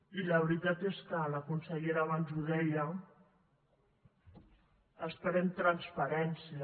i la veritat és que la consellera abans ho deia esperem transparència